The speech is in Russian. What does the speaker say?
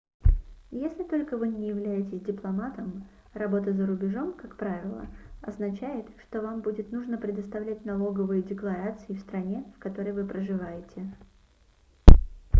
если только вы не являетесь дипломатом работа за рубежом как правило означает что вам будет нужно предоставлять налоговые декларации в стране в которой вы проживаете